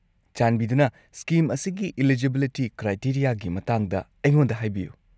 ꯆꯥꯟꯕꯤꯗꯨꯅ ꯁ꯭ꯀꯤꯝ ꯑꯁꯤꯒꯤ ꯢꯂꯤꯖꯤꯕꯤꯂꯤꯇꯤ ꯀ꯭ꯔꯥꯏꯇꯦꯔꯤꯌꯥꯒꯤ ꯃꯇꯥꯡꯗ ꯑꯩꯉꯣꯟꯗ ꯍꯥꯏꯕꯤꯌꯨ꯫